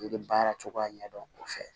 I bɛ baara cogoya ɲɛ dɔn o fɛ